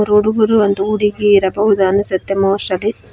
ಹುಡುಗ್ರು ಒಂದು ಹುಡುಗಿ ಇರಬಹುದು ಅನ್ಸುತ್ತೆ ಮೋಸ್ಟ್ಲಿ --